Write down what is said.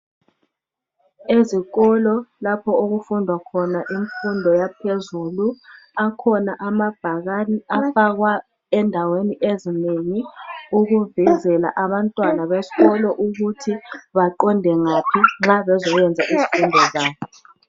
Ezikolo lapho okufundwa khona imfundo yaphezulu akhona amabhakane afakwa endaweni ezinengi ukuvezela abantwana besikolo ukuthi baqonde ngaphi nxa bezoyenza izifundo zabo.